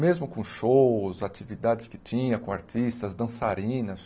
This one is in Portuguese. Mesmo com shows, atividades que tinha, com artistas, dançarinas,